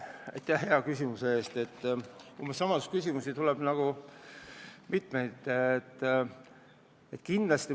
Aitäh hea küsimuse eest, aga umbes sama sisuga küsimusi on juba mitu olnud.